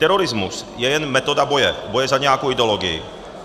Terorismus je jen metoda boje, boje za nějakou ideologii.